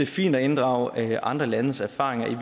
fint at inddrage andre landes erfaringer